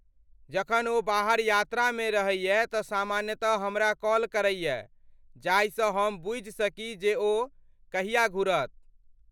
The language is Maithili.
जखन ओ बाहर यात्रामे रहैए तँ सामान्यतः हमरा कॉल करैए, जाहिसँ हम बुझि सकी जे ओ कहिया घुरत।